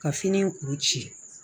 Ka fini kuru ci